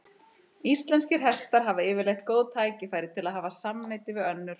Íslenskir hestar hafa yfirleitt góð tækifæri til að hafa samneyti við önnur hross.